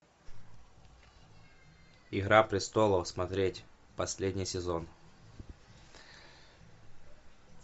игра престолов смотреть последний сезон